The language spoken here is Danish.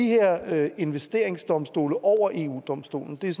her investeringsdomstole over eu domstolen det er